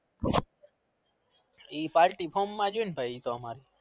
હે party ફોમ માજ હોય ભાઈ અમર તો